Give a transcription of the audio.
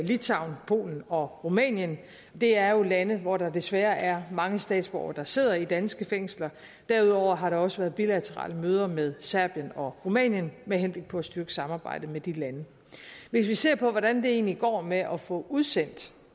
litauen polen og rumænien det er jo lande hvor der desværre er mange statsborgere der sidder i danske fængsler derudover har der også været bilaterale møder med serbien og rumænien med henblik på at styrke samarbejdet med de lande hvis vi ser på hvordan det egentlig går med at få udsendt